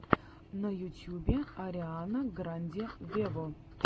на ютьюбе ариана гранде вево